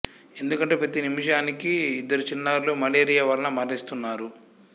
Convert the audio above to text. ఎందుకంటే ప్రతీ నిముషానికి ఇద్దరు చిన్నారులు మలేరియా వలన మరణిస్తున్నారు